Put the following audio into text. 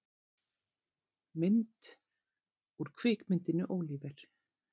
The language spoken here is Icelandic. Mynd: Úr kvikmyndinni Oliver!